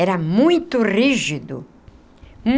Era muito rígido.